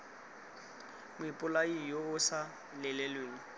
moipolai yo o sa lelelweng